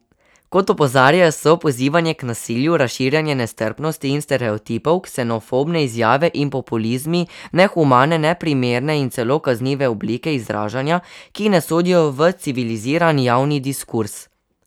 Kot opozarjajo, so pozivanje k nasilju, razširjanje nestrpnosti in stereotipov, ksenofobne izjave in populizmi nehumane, neprimerne in celo kaznive oblike izražanja, ki ne sodijo v civiliziran javni diskurz.